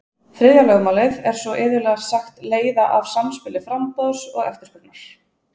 þriðja lögmálið er svo iðulega sagt leiða af samspili framboðs og eftirspurnar